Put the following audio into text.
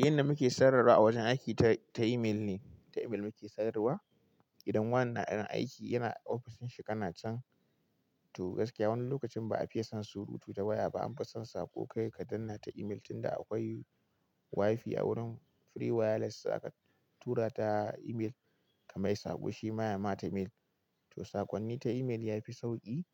Yanda muke sayar wan a wajen aiki ta, ta email ne, ta email muke sayarwa. Idan wanna ɗan aiki yana ofishin shi kana can to gaskiya wani lokacin ba a fiye son surutu ta waya ba, an fi son saƙo kai ka dannata email tun da akwai wifi a wurin free wireless aka tura ta email ka mai saƙo shi ma ya mata mail. To sakonni ta email ya fi sauƙi